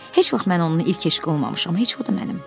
Heç vaxt mən onun ilk eşqi olmamışam, heç o da mənim.